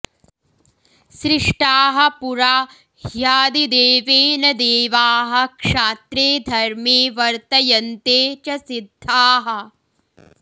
सृष्टाः पुरा ह्यादिदेवेन देवाः क्षात्रे धर्मे वर्तयन्ते च सिद्धाः